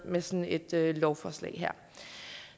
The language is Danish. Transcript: med sådan et lovforslag her